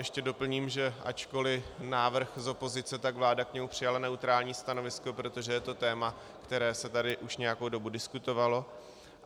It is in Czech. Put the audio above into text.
Ještě doplním, že ačkoliv návrh z opozice, tak vláda k němu přijala neutrální stanovisko, protože je to téma, které se tady už nějakou dobu diskutovalo.